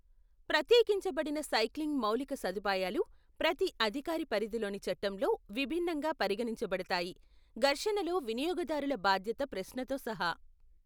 ప్రత్యేకించబడిన cycling మౌలిక సదుపాయాలు ప్రతి అధికార పరిధిలోని చట్టంలో విభిన్నంగా పరిగణించబడతాయి, ఘర్షణలో వినియోగదారుల బాధ్యత ప్రశ్నతో సహా.